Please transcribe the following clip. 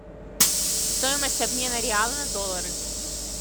стоимость обмена реала на доллары